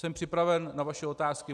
Jsem připraven na vaše otázky.